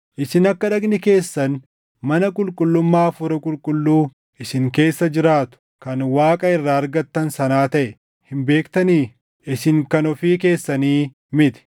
Isin akka dhagni keessan mana qulqullummaa Hafuura Qulqulluu isin keessa jiraatu, kan Waaqa irraa argattan sanaa taʼe hin beektanii? Isin kan ofii keessanii miti;